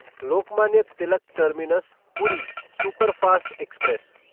Lokmanya Tilak terminus Puri superfast express